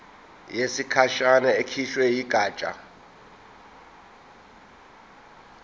yesikhashana ekhishwe yigatsha